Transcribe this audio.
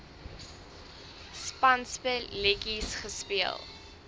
spanspe letjies gespeel